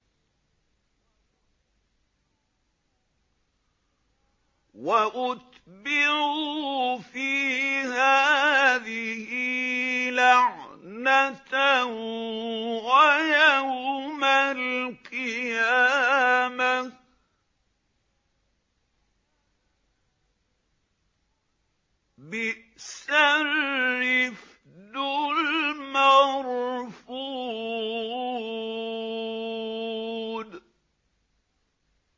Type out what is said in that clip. وَأُتْبِعُوا فِي هَٰذِهِ لَعْنَةً وَيَوْمَ الْقِيَامَةِ ۚ بِئْسَ الرِّفْدُ الْمَرْفُودُ